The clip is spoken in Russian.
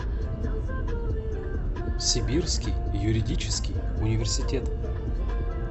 сибирский юридический университет